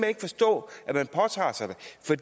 ikke forstå at man påtager sig